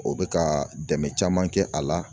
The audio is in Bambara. O bɛ ka dɛmɛ caman kɛ a la